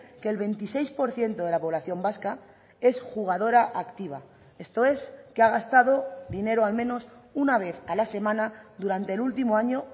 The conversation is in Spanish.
que el veintiséis por ciento de la población vasca es jugadora activa esto es que ha gastado dinero al menos una vez a la semana durante el último año